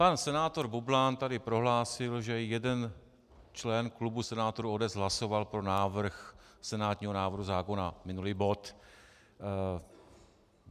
Pan senátor Bublan tady prohlásil, že jeden člen klubu senátorů ODS hlasoval pro návrh senátního návrhu zákona, minulý bod.